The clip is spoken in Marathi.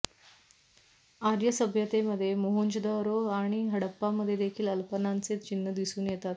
आर्य सभ्यतेमध्ये मोहंजोदरो आणि हडप्पामध्ये देखील अल्पनांचे चिन्ह दिसून येतात